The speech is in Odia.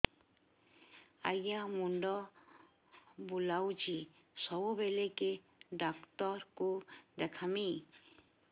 ଆଜ୍ଞା ମୁଣ୍ଡ ବୁଲାଉଛି ସବୁବେଳେ କେ ଡାକ୍ତର କୁ ଦେଖାମି